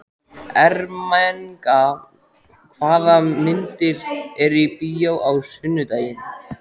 Ermenga, hvaða myndir eru í bíó á sunnudaginn?